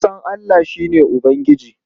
Na fa san Allah, shi ne Ubangijina.